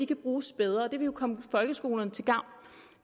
kan bruges bedre det ville jo komme folkeskolerne til gavn